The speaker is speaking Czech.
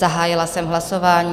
Zahájila jsem hlasování.